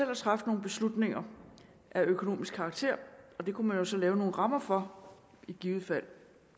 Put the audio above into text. at træffe nogle beslutninger af økonomisk karakter det kunne man jo så lave nogle rammer for i givet fald